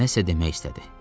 Nə isə demək istədi.